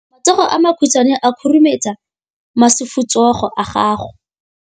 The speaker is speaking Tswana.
Matsogo a makhutshwane a khurumetsa masufutsogo a gago.